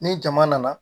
Ni jama nana